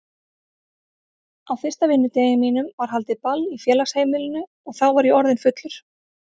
Á fyrsta vinnudegi mínum var haldið ball í félagsheimilinu og þá var ég orðinn fullur.